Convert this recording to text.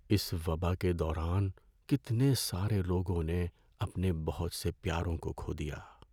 اس وبا کے دوران کتنے سارے لوگوں نے اپنے بہت سے پیاروں کو کھو دیا۔